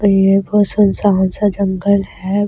ये सुनसान सा जंगले हैं ।